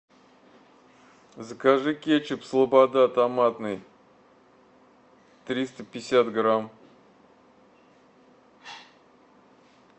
закажи кетчуп слобода томатный триста пятьдесят грамм